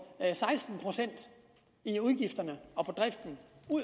seksten procent i udgifterne